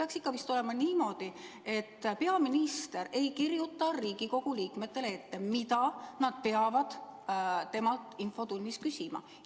Peaks ikka vist olema niimoodi, et peaminister ei kirjuta Riigikogu liikmetele ette, mida nad peavad temalt infotunnis küsima.